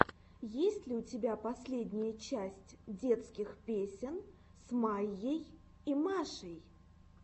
есть ли у тебя последняя часть детских песен с майей и машей